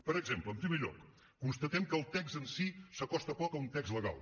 per exemple en primer lloc constatem que el text en si s’acosta poc a un text legal